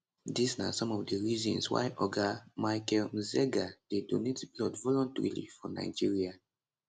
dis na some of di reasons why oga micheal mzega dey donate blood voluntarily for nigeria